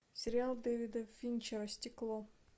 сериал дэвида финчера стекло